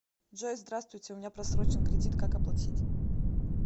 джой здравствуйте у меня просрочен кредит как оплатить